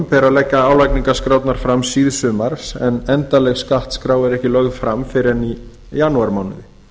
ber að leggja álagningarskrárnar fram síðsumars en endanleg skattskrá er ekki lögð fram fyrr en í janúarmánuði